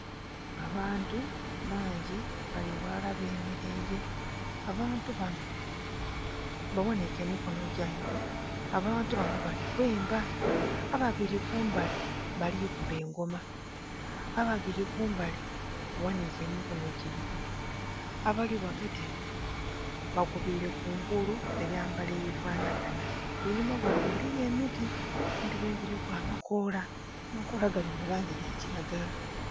Abantu bangi bali ghalala bemereire abantu banho baghanike emikonho gyaibwe abantu banho bali kwemba, ababiri kumbali balikuba engoma, ababiri kumbali baghanike emikonho gyaibwe abali ghagati bakubire kungulu ebwambalo ebifanagana. Einhuma ghabwe eriyo emiti emiti ginho giliku amakoola amakoola ganho gali mua langi ya kilagala.